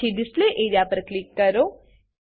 પછી display A R E A પર click કરો